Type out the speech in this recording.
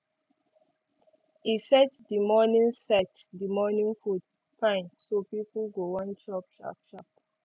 e set the morning set the morning food fine so people go wan chop sharp sharp